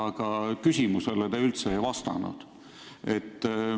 Aga küsimusele te üldse ei vastanud.